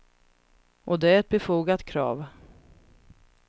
Och det är ett befogat krav.